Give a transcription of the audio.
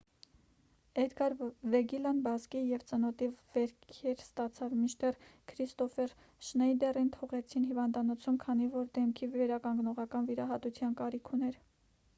էդգար վեգիլլան բազկի և ծնոտի վերքեր ստացավ մինչդեռ քրիստոֆեր շնեյդերին թողեցին հիվանդանոցում քանի որ դեմքի վերականգնողական վիրահատության կարիք ուներ